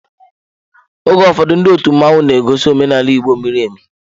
Oge ụfọdụ ndị otu mmanwu na egosi omenaala Igbo miri emi.